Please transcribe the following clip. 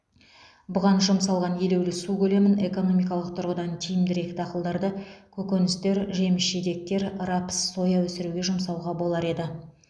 бұған жұмсалған елеулі су көлемін экономикалық тұрғыдан тиімдірек дақылдарды көкөністер жеміс жидектер рапс соя өсіруге жұмсауға болар еді